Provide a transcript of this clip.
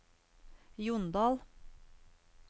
Jondal